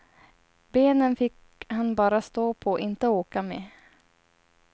Benen fick han bara stå på, inte åka med.